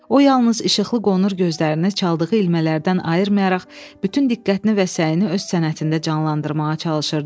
O yalnız işıqlı qonur gözlərini çaldığı ilmələrdən ayırmayaraq bütün diqqətini və səyini öz sənətində canlandırmağa çalışırdı.